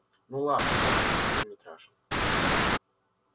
ну ладно резко повернул митраша